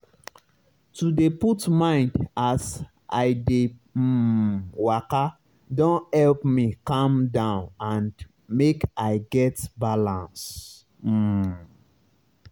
to dey put mind as i dey um waka don help me calm down and make i get balance. um